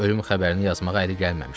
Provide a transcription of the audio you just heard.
Tomun ölüm xəbərini yazmağa əli gəlməmişdi.